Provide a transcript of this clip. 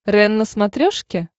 рен на смотрешке